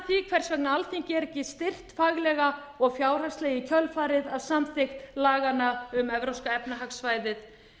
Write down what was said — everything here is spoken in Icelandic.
hvers vegna alþingi er ekki styrkt faglega og fjárhagslega í kjölfarið af samþykkt laganna um evrópska efnahagssvæðið